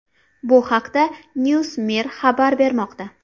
Bu haqda NewsMir xabar bermoqda .